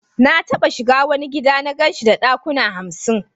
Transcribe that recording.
Na taba shiga wani gida na gan shi da dakuna hamsin.